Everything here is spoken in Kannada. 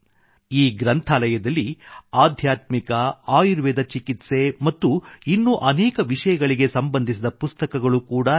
ಈ ಗ್ರಂಥಾಲಯದಲ್ಲಿ ಆಧ್ಯಾತ್ಮಿಕ ಆಯುರ್ವೇದ ಚಿಕಿತ್ಸೆ ಮತ್ತು ಇನ್ನೂ ಅನೇಕ ವಿಷಯಗಳಿಗೆ ಸಂಬಂಧಿಸಿದ ಪುಸ್ತಕಗಳು ಕೂಡಾ ಇವೆ